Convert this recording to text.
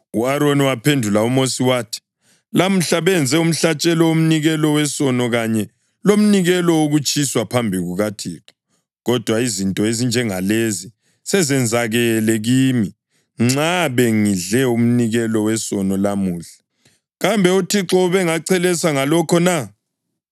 U-Aroni waphendula uMosi wathi, “Lamuhla benze umhlatshelo womnikelo wesono kanye lomnikelo wokutshiswa phambi kukaThixo, kodwa izinto ezinjengalezi sezenzakele kimi. Nxa bengidle umnikelo wesono lamuhla, kambe uThixo ubengachelesa ngalokho na?”